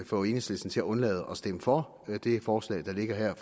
få enhedslisten til at undlade at stemme for det forslag der ligger her